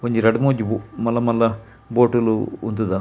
ಒಂಜಿ ರಡ್ಡ್ ಮೂಜಿ ಮಲ್ಲ ಮಲ್ಲ ಬೋಟು ಲು ಉಂತುದ.